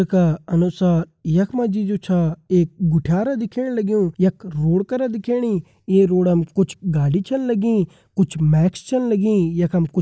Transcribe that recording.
का अनुसार यख मा जु छ एक गुठयार दिखेण लग्युं यख रोड करा दिखेणी ये रोडम कुछ गाड़ी छन लगी कुछ मैक्स छन लगी यखम कुछ --